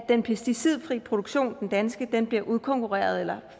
den pesticidfri produktion den danske bliver udkonkurreret eller